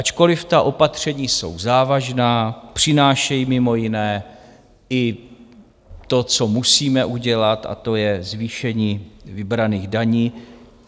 Ačkoliv ta opatření jsou závažná, přinášejí mimo jiné i to, co musíme udělat, a to je zvýšení vybraných daní.